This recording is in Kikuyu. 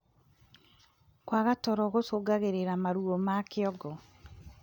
Kwaga toro gucungagirirĩa maruo ma kĩongo